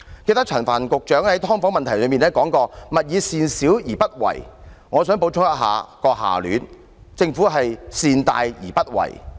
記得陳帆局長曾在討論"劏房"問題時說過："勿以善小而不為"，我想補充下聯："政府善大而不為"。